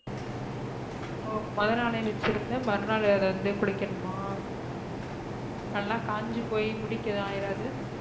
ஒ மொத நல வச்சிருந்து மறு நாள் அதா குளிக்கனுமா நல்லா காஞ்சி போய் முடிக்கு ஏதும் அயராது.